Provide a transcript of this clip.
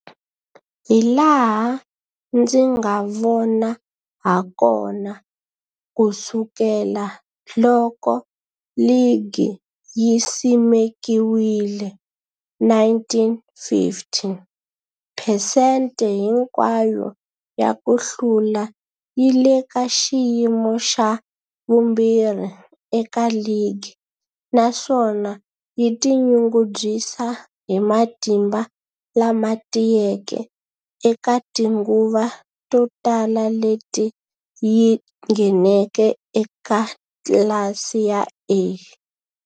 Hilaha ndzi nga vona hakona, ku sukela loko ligi yi simekiwile 1950, phesente hinkwayo ya ku hlula yi le ka xiyimo xa vumbirhi eka ligi, naswona yi tinyungubyisa hi matimba lama tiyeke eka tinguva to tala leti yi ngheneke eka tlilasi ya A.